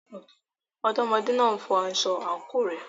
Ọmọdékùnrin náà n fọ aṣọ àǹkóò rẹ̀.